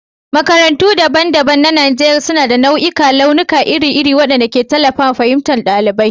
Makarantu daban-daban na Najeriya suna da nau'ikan launuka iri-iri waɗanda ke tallafawa fahimtar ɗalibi.